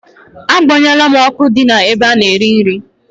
A gbanyụo la m ọkụ ahụ di n'ebe a na-erị nrị